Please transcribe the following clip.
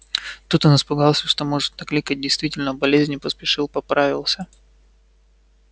тут он испугался что может накликать действительно болезнь и поспешил поправился